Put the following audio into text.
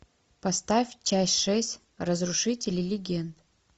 поставь часть шесть разрушители легенд